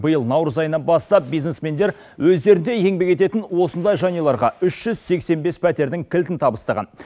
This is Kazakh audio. биыл наурыз айынан бастап бизнесмендер өздерінде еңбек ететін осындай жанұяларға үш жүз сексен бес пәтердің кілтін табыстаған